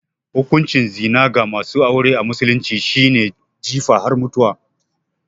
Hukuncin zina ga masu aure a musulunci shi ne jifa har mutuwa